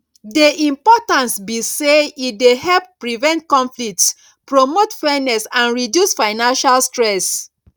di importance be say e dey help prevent conflicts promote fairness and reduce financial stress